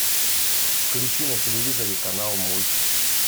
включи на телевизоре канал мульт